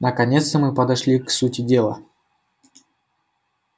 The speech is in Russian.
наконец-то мы подошли к сути дела